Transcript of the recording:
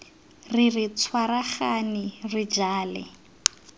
re re tshwaragane re jale